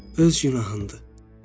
Öz günahındır.